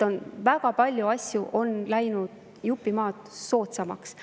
Nii et väga palju asju on läinud jupp maad soodsamaks.